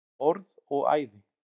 Orð og æði.